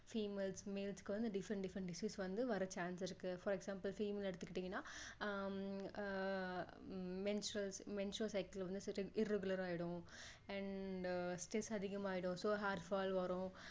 females males க்கு வந்து different different disease வர்ற chance இருக்கு for example female எடுத்துகிட்டீங்கன்னா ah ah ah menstru~menstrual cycle வந்து irregular ஆகிடும் and stress அதிகமாகிடும் so hairfall வரும்